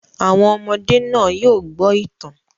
Àwọn ọmọdé náà yóò gbọ́ ìtàn